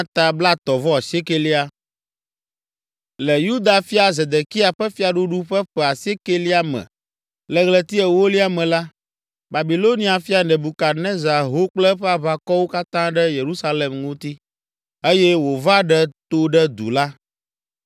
Le Yuda fia Zedekia ƒe fiaɖuɖu ƒe ƒe asiekɛlia me, le ɣleti ewolia me la, Babilonia fia Nebukadnezar ho kple eƒe aʋakɔwo katã ɖe Yerusalem ŋuti, eye wòva ɖe to ɖe du la.